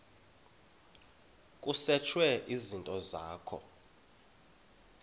kusetshwe izinto zakho